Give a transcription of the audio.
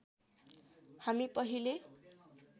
हामी पहिले